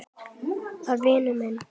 var vinur minn.